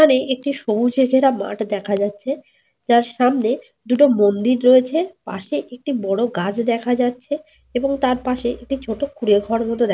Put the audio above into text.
এখানে একটি সবুজে ঘেরা মাঠ দেখা যাচ্ছে। যার সামনে দুটো মন্দির রয়েছে। পাশে একটি বড় গাছ দেখা যাচ্ছে। এবং তার পাশে একটি ছোট কুঁড়েঘর মতো দেখা --